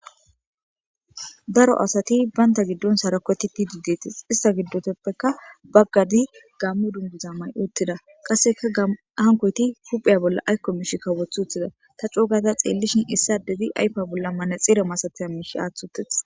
Daro asati baynta giddon sarakoti pidi deetis ista giddoteppeka baggadi gammu dunguza mayi uttida qasseka hankoyti huphiya bolla aykko mishi kawoth uttida ta cougaza xeellishin issadedi ayfa bolla manaxire masataya miish aathi utidees.